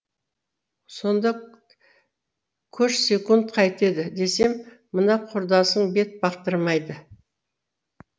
сонда көшсекунд қайтеді десем мына құрдасың бет бақтырмайды